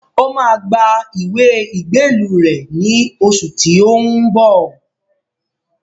Ó máa gba ìwé ìgbélú rẹ̀ ní oṣù tí ó ń bọ̀